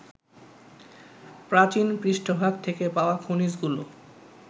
প্রাচীন পৃষ্ঠভাগ থেকে পাওয়া খনিজগুলো